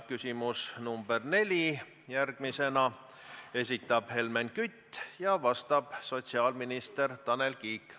Küsimus nr 4, esitab Helmen Kütt ja vastab sotsiaalminister Tanel Kiik.